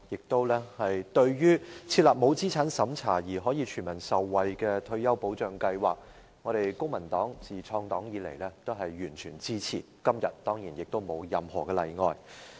對於設立沒有資產審查而可令全民受惠的退休保障計劃，我們公民黨自創黨以來都完全支持，今天當然也不例外。